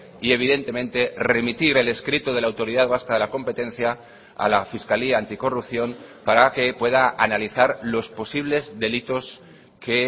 y evidentemente remitir el escrito de la autoridad vasca de la competencia a la fiscalía anticorrupción para que pueda analizar los posibles delitos que